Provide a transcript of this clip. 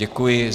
Děkuji.